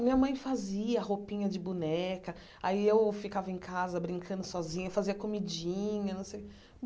Minha mãe fazia roupinha de boneca, aí eu ficava em casa brincando sozinha, fazia comidinha não sei o.